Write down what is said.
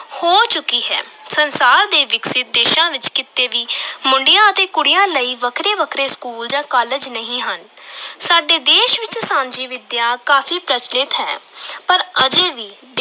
ਹੋ ਚੁੱਕੀ ਹੈ, ਸੰਸਾਰ ਦੇ ਵਿਕਸਿਤ ਦੇਸ਼ਾਂ ਵਿਚ ਕਿਤੇ ਵੀ ਮੁੰਡਿਆਂ ਅਤੇ ਕੁੜੀਆਂ ਲਈ ਵੱਖਰੇ-ਵੱਖਰੇ school ਜਾਂ college ਨਹੀਂ ਹਨ ਸਾਡੇ ਦੇਸ਼ ਵਿਚ ਸਾਂਝੀ ਵਿਦਿਆ ਕਾਫ਼ੀ ਪ੍ਰਚੱਲਿਤ ਹੈ ਪਰ ਅਜੇ ਵੀ